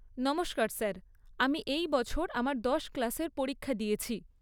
নমস্কার স্যার, আমি এই বছর আমার দশ ক্লাসের পরীক্ষা দিয়েছি।